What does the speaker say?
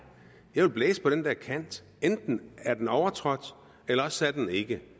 jeg vil blæse på den der kant enten er den overtrådt eller også er den ikke